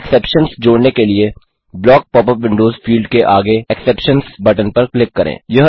exceptions जोड़ने के लिए block pop up windows field के आगे एक्सेप्शंस बटन पर क्लिक करें